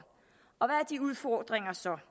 og hvad er de udfordringer så